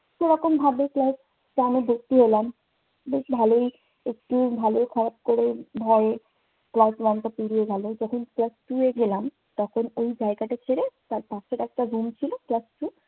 তো ওরকমভাবে class বেশ ভালোই। একটু ভালো খারাপ করে ভয়ে class one টা পেরিয়ে গেলো। যখন class two এ গেলাম তখন ওই জায়গাটা ছেড়ে তার পাশের একটা room ছিল class two